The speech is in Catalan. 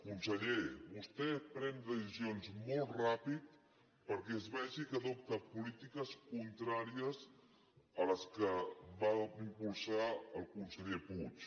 conseller vostè pren decisions molt ràpidament perquè es vegi que adopta polítiques contràries a les que va impulsar el conseller puig